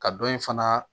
Ka dɔ in fana